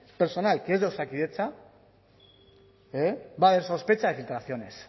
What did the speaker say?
personal que es de osakidetza va a haber sospecha de filtraciones